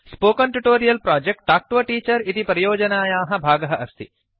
spoken tutorial project talk to a teacher इति परियोजनायाः भागः अस्ति